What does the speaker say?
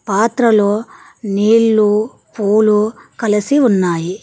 పాత్రలో నీళ్లు పూలు కలసి ఉన్నాయి.